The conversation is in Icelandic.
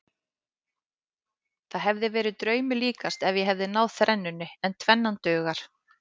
Það hefði verið draumi líkast ef ég hefði náð þrennunni en tvennan dugar.